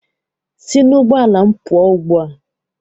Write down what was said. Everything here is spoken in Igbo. Sị n'ụgbọala m pụọ ugbua!